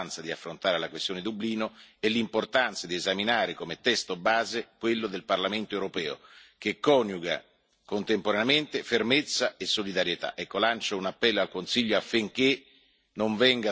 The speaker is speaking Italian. Io ho sottolineato, in tutte le riunioni del Consiglio, l'importanza di affrontare la questione di Dublino e l'importanza di esaminare come testo base quello del Parlamento europeo, che coniuga contemporaneamente fermezza e solidarietà.